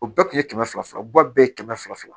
O bɛɛ kun ye kɛmɛ fila u ba bɛɛ ye kɛmɛ fila fila